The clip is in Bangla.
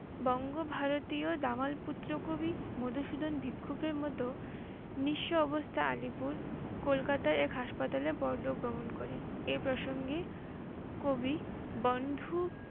বঙ্গ-ভারতীয় দামাল পুত্র কবি মধুসূদন ভিক্ষুকের মতো নিঃস্ব অবস্থায় অলীপুর, কলকাতার এক হাসপাতালে পরলোক গমন করেন।